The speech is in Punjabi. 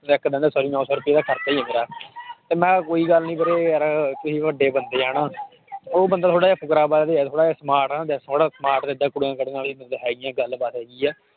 ਇੱਕ ਦਿਨ ਦਾ sorry ਨੋਂ ਰੁਪਏ ਦਾ ਖਰਚਾ ਹੀ ਹੈ ਮੇਰਾ ਤੇ ਮੈਂ ਕਿਹਾ ਕੋਈ ਗੱਲ ਨੀ ਵੀਰੇ ਯਾਰ ਤੁਸੀਂ ਵੱਡੇ ਬੰਦੇ ਆਂ ਨਾ ਉਹ ਬੰਦਾ ਥੋੜ੍ਹਾ ਜਿਹਾ ਫ਼ੁਕਰਾਬਾਜ਼ ਹੀ ਆ ਥੋੜ੍ਹਾ ਜਿਹਾ smart ਆ ਨਾ ਹੈਗੀਆਂ ਗੱਲ ਬਾਤ ਹੈਗੀ ਆ।